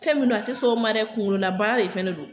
Fɛn min don a te sɔn o ma dɛ kungolo la baara de fɛnɛ don